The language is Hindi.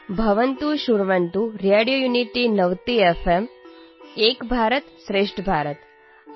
भवन्तः शृण्वन्तु रेडियोयुनिटीनवतिएफ्एम् एकभारतं श्रेष्ठभारतम्